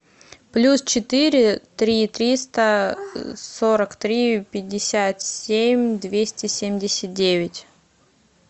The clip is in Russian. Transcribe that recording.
плюс четыре три триста сорок три пятьдесят семь двести семьдесят девять